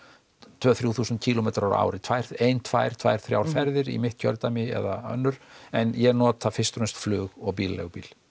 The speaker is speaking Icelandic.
tvö til þrjú þúsund kílómetra á ári tvær tvær tvær þrjár ferðir í mitt kjördæmi eða önnur en ég nota fyrst og fremst flug og bílaleigubíl